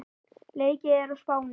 Leikið er á Spáni.